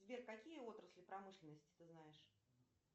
сбер какие отрасли промышленности ты знаешь